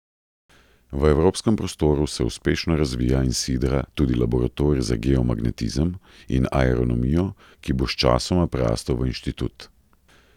V evropskem prostoru se uspešno razvija in sidra tudi Laboratorij za geomagnetizem in aeronomijo, ki bo sčasoma prerastel v inštitut.